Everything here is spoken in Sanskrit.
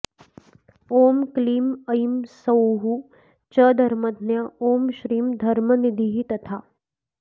ॐ क्लीं ऐं सौः च धर्मज्ञा ॐ श्रीं धर्मनिधिस्तथा